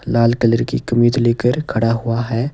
लाल colour की कमीज लेकर खड़ा हुआ है।